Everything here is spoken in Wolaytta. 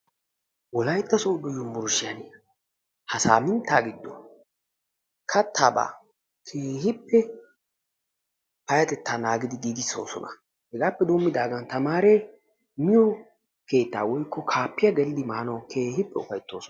Wolaytta sodo yunburushiyaa ha saminttaa giddon kattaabaa keehippe payatettaa naagidi giigisoosona. Hegaappe doomidaagan tamaree miyoo keettaa woykko kaapiyaa geelidi maanawu keehippe ufayttoosona.